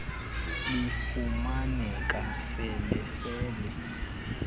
lifumaneka fele fele